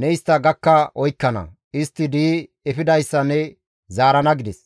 Ne istta gakka oykkana; istti di7i efidayssa ne zaarana» gides.